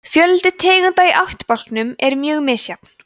fjöldi tegunda í ættbálkum er mjög misjafn